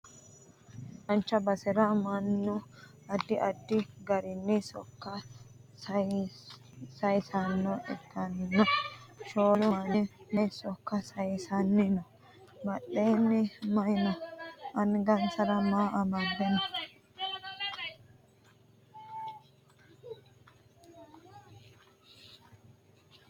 duucha basera mannu addi addi garinni sokka sayeesanno ikkollana shoolu manni maye sokka sayeessanni no? badheenni maye no? angansara maa amade no?